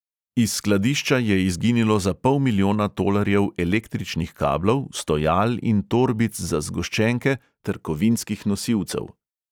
Iz skladišča je izginilo za pol milijona tolarjev električnih kablov, stojal in torbic za zgoščenke ter kovinskih nosilcev.